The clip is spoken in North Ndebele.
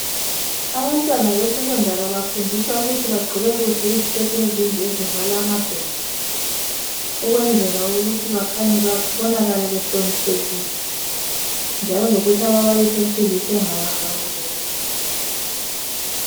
Abantwana besecondary bafundiswa ukuthi bagqoke kuhle iziketi ezinde zivale amadolo ukwenzela ukuthi bakhanye behloniphekile njalo lokuthi ababalisi besilisa bangabahawukeli.